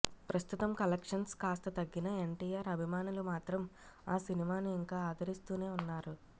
ప్రస్తుతం కలెక్షన్స్ కాస్త తగ్గిన ఎన్టీఆర్ అభిమానులు మాత్రం ఆ సినిమాను ఇంకా ఆదరిస్తూనే ఉన్నారు